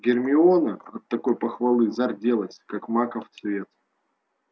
гермиона от такой похвалы зарделась как маков цвет